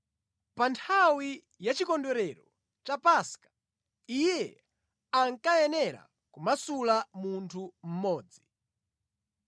(Pa nthawi yachikondwerero cha Paska iye ankayenera kumasula munthu mmodzi).